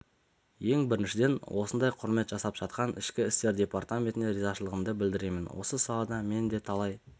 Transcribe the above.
ең біріншіден осындай құрмет жасап жатқан ішкі істер департаментіне ризашылығымды білдіремін осы салада мен де талай